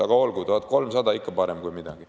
Aga olgu, 1300 on ikkagi parem kui mitte midagi.